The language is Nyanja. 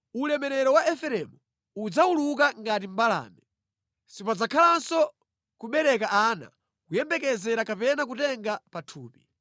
Ulemerero wa Efereimu udzawuluka ngati mbalame. Sipadzakhalanso kubereka ana, kuyembekezera kapena kutenga pathupi.